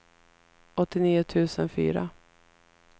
åttionio tusen fyra